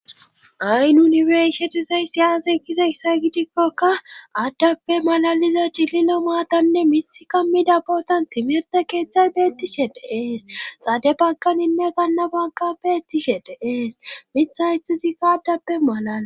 Hi nunibershetisay siyase kize isay gidikkokka addappe malaliza cililo maatanne mith kammida bootan timirte keeththay beettishe de ees xade bakaninne gannabanka beettishe de ees mitha itizikka addappe malana